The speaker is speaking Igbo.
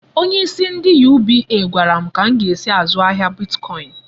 Onyeisi ndị UBA gwara m ka m ga-esi zụọ ahịa bitkọin.